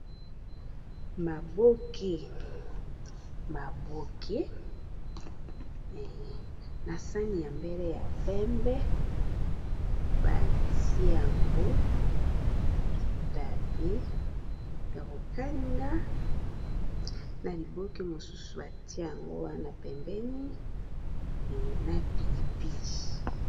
Maboke, maboke na sani ya mbele ya pembe. Batia yango bitabe ya kokalinga. Na liboke mosusu, batia yango wana pembeni na pilipilî.